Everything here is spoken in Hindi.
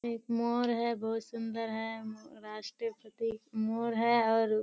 एक मोर है बहुत सुन्दर है मो राष्ट्रीय प्रतिक मोर है और --